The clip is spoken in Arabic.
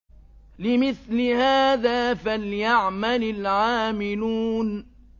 لِمِثْلِ هَٰذَا فَلْيَعْمَلِ الْعَامِلُونَ